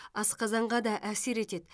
асқазанға да әсер етеді